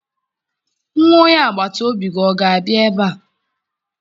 Nwa onye agbata obi gị ọ ga-abịa ebe a?